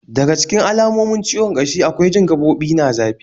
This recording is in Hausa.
Daga cikin alamomin ciwon kashi akwai jin gaɓoɓi na zafi